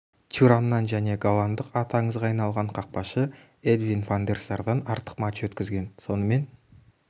тюрамнан және голландық аты аңызға айналған қақпашы эдвин ван дер сардан артық матч өткізген сонымен